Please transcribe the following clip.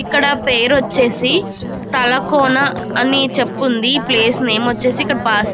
ఇక్కడ పేరు వచ్చేసి తలకోన అని చెప్పి ఉంది. ఈ ప్లేస్ నేమ్ వచ్చేసి ఇక్కడ బస్ --